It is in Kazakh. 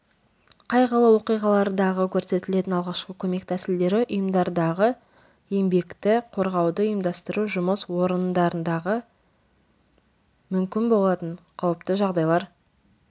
қайғылы оқиғалардағы көрсетілетін алғашқы көмек тәсілдері ұйымдардағы еңбекті қорғауды ұйымдастыру жұмыс орындардағы мүмкін болатын қауіпті жағдайлар